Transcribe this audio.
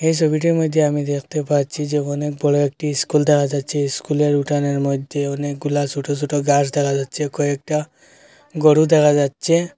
এই সবিটার মধ্যে আমি দেখতে পাচ্ছি যে অনেক বড় একটি ইস্কুল দেখা যাচ্ছে ইস্কুলের উঠানের মধ্যে অনেকগুলা সোটো সোটো গাছ দেখা যাচ্ছে কয়েকটা গোরু দেখা যাচ্ছে।